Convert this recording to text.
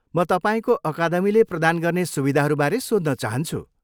म तपाईँको अकादमीले प्रदान गर्ने सुविधाहरूबारे सोध्न चाहन्छु।